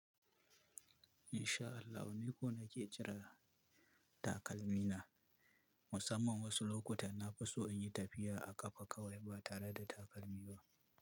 Insha Allahu, ni ko na ke jira takalmina. Musamman wasu lokutan na fi so in yi tafiya a ƙafa kawai ba tare da takalmi ba.